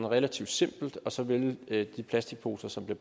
relativt simpelt og så vil de plastikposer som bliver